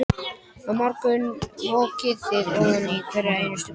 Á morgun mokið þið ofan í hverja einustu gryfju.